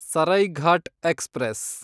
Saraighat express